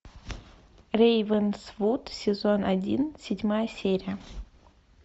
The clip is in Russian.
рейвенсвуд сезон один седьмая серия